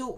08:30: